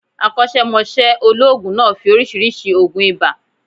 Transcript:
Akọ́sẹ́mọsẹ́ olóòògùn náà fi oriísirísi ògùn ibà